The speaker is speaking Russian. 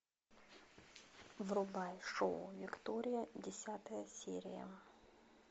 врубай шоу виктория десятая серия